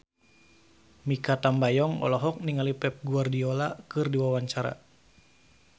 Mikha Tambayong olohok ningali Pep Guardiola keur diwawancara